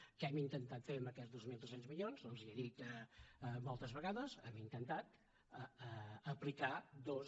què hem intentat fer amb aquests dos mil tres cents milions doncs li he dit moltes vegades hem intentat aplicar dos